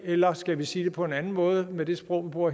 eller skal vi sige det på en anden måde med det sprog vi bruger